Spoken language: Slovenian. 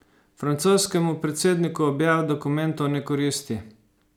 Francoskemu predsedniku objava dokumentov ne koristi.